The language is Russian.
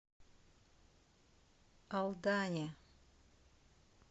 алдане